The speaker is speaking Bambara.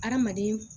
Hadamaden